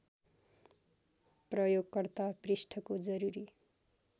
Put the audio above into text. प्रयोगकर्ता पृष्ठको जरुरी